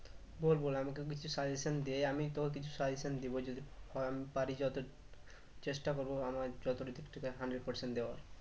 বল বল আমি তোকে কিছু suggestion দেই আমি তো কিছু suggestion দিবো যদি কারণ পারি যত চেষ্টা করবো আমার দিক থেকে hundred percent দেওয়ার